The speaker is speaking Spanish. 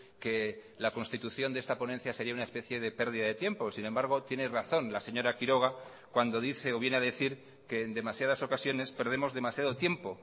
que la constitución de esta ponencia sería una especie de pérdida de tiempo sin embargo tiene razón la señora quiroga cuando dice o viene a decir que en demasiadas ocasiones perdemos demasiado tiempo